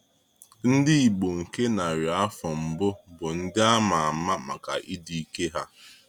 Ndị Igbo nke narị afọ mbụ bụ ndị a ma ama maka ịdị ike ha.